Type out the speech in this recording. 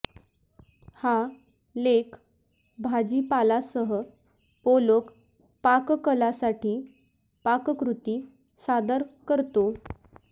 हा लेख भाजीपालासह पोलोक पाककलासाठी पाककृती सादर करतो